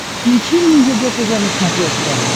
включи мне егэ тв на смотрешке